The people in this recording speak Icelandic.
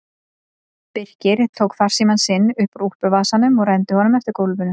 Birkir tók farsímann sinn upp úr úlpuvasanum og renndi honum eftir gólfinu.